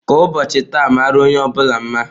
Ka ụbọochị taa mara onye bula mma.